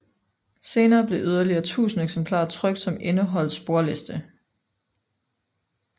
Senere blev yderligere 1000 eksemplarer trykt som indeholdt sporliste